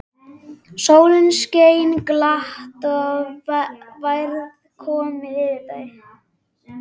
Sólin skein glatt og værð kom yfir þau.